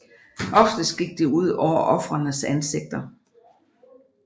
Oftest gik det ud over ofrenes ansigter